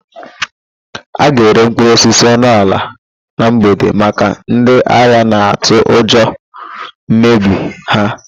A ga-ere mkpụrụosisi ọnụ ala na mgbede maka ndị ahịa na-atụ ụjọ mmebi ha.